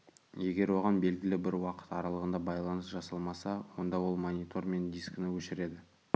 егер оған белгілі бір уақыт аралығында байланыс жасалмаса онда ол монитор мен дискіні өшіреді